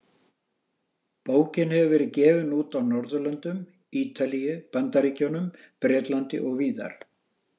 Bókin hefur verið gefin út á Norðurlöndum, Ítalíu, Bandaríkjunum, Bretlandi og víðar.